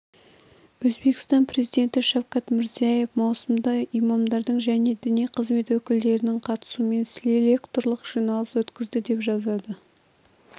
өзбекстан президенті шавкат мирзияев маусымда имамдардың және діни қызмет өкілдерінің қатысуымен селекторлық жиналыс өткізді деп жазады